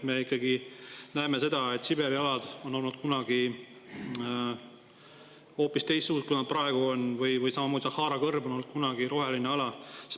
Me näeme seda, et Siberi alad on olnud kunagi hoopis teistsugused, kui nad praegu on, või samamoodi, Sahara kõrb on olnud kunagi roheline ala.